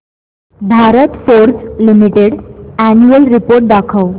Bharat Forge Limited annual report दाखव